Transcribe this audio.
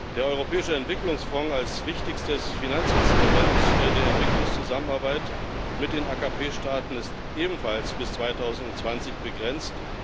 Der Europäische Entwicklungsfonds als wichtigstes Finanzinstrument der Entwicklungszusammenarbeit mit den AKP Staaten ist ebenfalls bis 2020 begrenzt.